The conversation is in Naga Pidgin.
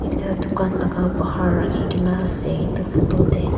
ekta dukan laka bahar rakhikae na ase edu photo tae.